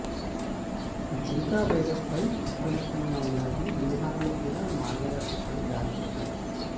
Zika వైరస్పై అప్రమత్తంగా ఉండాలని బీహార్లో కూడా మార్గదర్శకాలు జారీ చేశారు